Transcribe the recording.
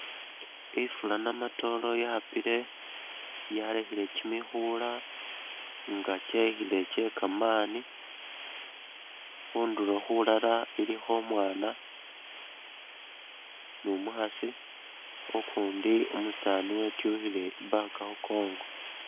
Ifula namatolo yapile , yalekhele kimikhula nga kyekhile kyekaamani , khunduro khulala ilikho umwana ni’umukhasi ukundi umusani etwikhile ii’bag khukongo